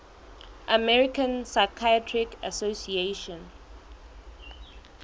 american psychiatric association